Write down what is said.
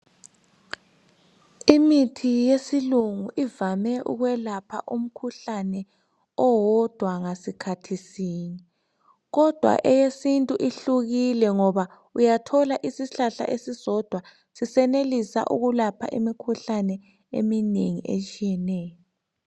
Imithi yesilungu ivame ukwelapha umkhuhlane owodwa ngasikhathi sinye, kodwa eyesintu ihlukile ngoba uyathola isihlahla esisodwa sisenelisa ukulapha imikhuhlane eminengi etshiyeneyo.